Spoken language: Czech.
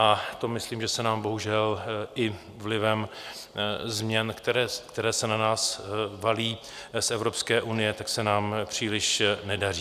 A to myslím, že se nám bohužel i vlivem změn, které se na nás valí z Evropské unie, tak se nám příliš nedaří.